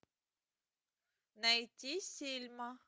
найти сельма